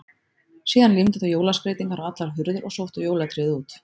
Síðan límdu þau jólaskreytingar á allar hurðir og sóttu jólatréð út.